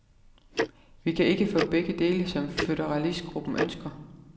Vi kan ikke få begge dele, som føderalistgruppen ønsker.